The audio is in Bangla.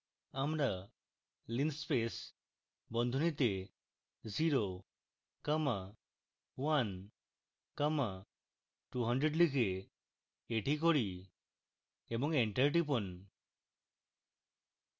আমরা linspace বন্ধনীতে 0 comma 1 comma 200 লিখে এটি করি এবং enter টিপুন